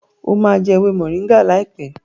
o má jé ewé Moringa láìpé!